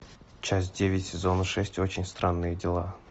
часть девять сезона шесть очень странные дела